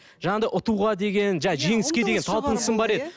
жаңағыдай ұтуға деген жаңағы жеңіске деген талпынысым бар еді